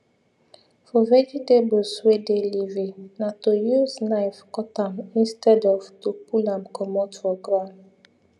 for vegetables wey dey leafy na to use knife cut am instead of to pull am comot for ground